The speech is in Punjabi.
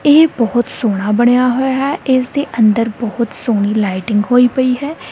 ਇਹ ਬੋਹਤ ਸੋਹਣਾ ਬਣਿਆਂ ਹੋਯਾ ਹੈ ਇਸ ਦੀ ਅੰਦਰ ਬੋਹਤ ਸੋਹਣੀਂ ਲਾਈਟਿੰਗ ਹੋਈਂ ਪਯੀ ਹੈ।